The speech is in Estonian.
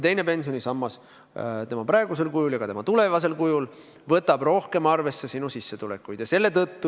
Teine pensionisammas tema praegusel ja ka tulevasel kujul võtab rohkem arvesse sinu sissetulekuid.